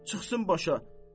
Çıxsın başa.